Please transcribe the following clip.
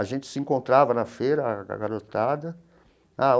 A gente se encontrava na feira, a garotada.